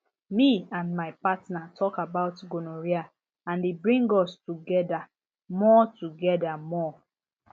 me and my partner talk about gonorrhea and e bring us together more together more